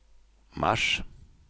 mars